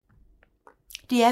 DR P2